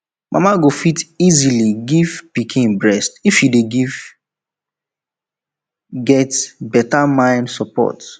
mama go fit easily give pikin breast if she dey get get beta mind support